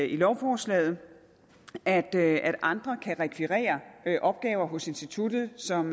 i lovforslaget at at andre kan rekvirere opgaver hos instituttet som